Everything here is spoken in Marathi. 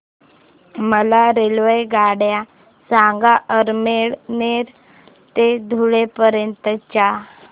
मला रेल्वेगाड्या सांगा अमळनेर ते धुळे पर्यंतच्या